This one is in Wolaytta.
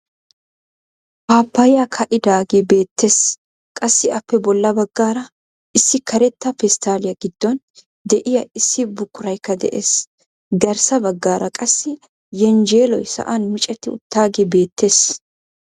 Paapayaay kaa'idagee beettees. qassi appe boolla baggaara issi karetta pesttaaliyaa giddon de'iyaa issi buquraykka de'ees. garssa baggaara qassi yenjjeeloy sa'an micetti uttaagee beettees.